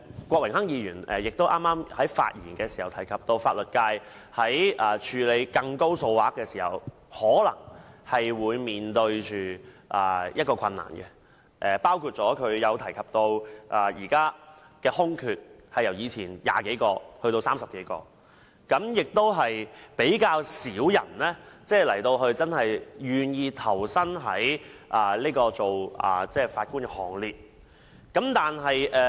郭榮鏗議員剛才發言時提到，法律界在處理較大金額的訴訟時面對困難，包括司法機關現時的空缺由以往的20多個增加至30多個，而且較少人願意投身法官的行列。